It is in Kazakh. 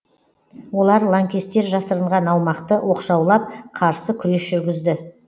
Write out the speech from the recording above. олар лаңкестер жасырынған аумақты оқшаулап қарсы күрес жүргізді